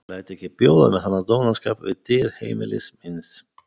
Ég læt ekki bjóða mér þennan dónaskap við dyr heimilis míns.